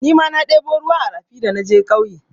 Nima na ɗebo ruwa a rafi da naje ƙauye.